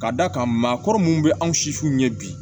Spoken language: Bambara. Ka d'a kan maakɔrɔ minnu bɛ anw si fu ɲɛ bi